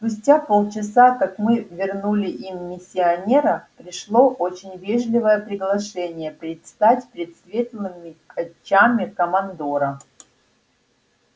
спустя полчаса как мы вернули им миссионера пришло очень вежливое приглашение предстать пред светлыми очами командора